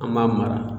An b'a mara